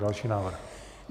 Další návrh.